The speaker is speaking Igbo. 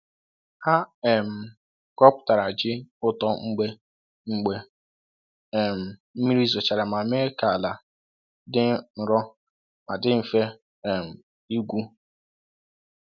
Ha um ghọpụtara ji ụtọ mgbe mgbe um mmiri zochara ma mee ka ala dị nro ma dị mfe um ịgwu.